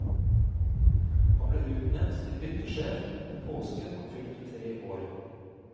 Han ble utnevnt til hyttesjef den påsken han fylte tre år.